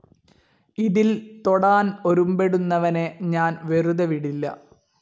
ഇതിൽ തൊടാൻ ഒരുമ്പെടുന്നവനെ ഞാൻ വെറുതെ വിടില്ല.